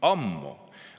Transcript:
Ammu!